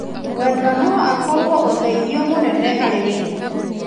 Mwendwa no akorwo ũteithio mũnene harĩ wĩra.